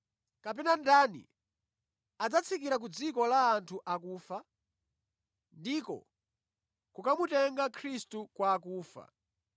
“kapena ‘Ndani adzatsikira ku dziko la anthu akufa?’ ” (ndiko, kukamutenga Khristu kwa akufa).